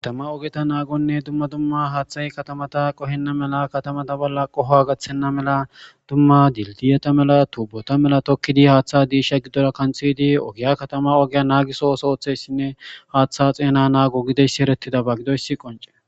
Katama ogeta naagonne dumma dumma haaththay katamata qohenna mela katamata bolla qohoa gaththenna mela dumma dildiyeta mela tuubota mela tokkidi haaththa diisha giddora kanthiydi ogiya katama ogiya naagisohos ooththeyssinne haaththa xeena naago gideyssi erettidaba gidoyssi qonce.